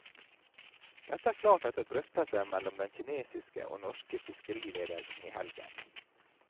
Dette er klart etter drøftelser mellom den kinesiske og norske fiskeriledelsen i helgen.